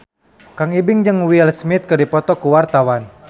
Kang Ibing jeung Will Smith keur dipoto ku wartawan